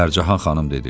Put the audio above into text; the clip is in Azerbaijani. Pərcahan xanım dedi: